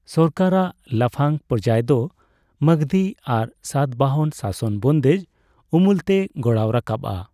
ᱥᱚᱨᱠᱟᱨᱟᱜ ᱞᱟᱯᱷᱟᱝ ᱯᱚᱨᱡᱟᱭ ᱫᱚ ᱢᱟᱜᱫᱷᱤ ᱟᱨ ᱥᱟᱛᱵᱟᱦᱚᱱ ᱥᱟᱥᱚᱱ ᱵᱚᱱᱫᱮᱡ ᱩᱢᱩᱞᱛᱮ ᱜᱚᱲᱟᱣ ᱨᱟᱠᱟᱵᱼᱟ ᱾